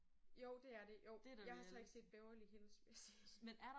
Jo det er det jo jeg har så ikke set Beverly Hills vil jeg sige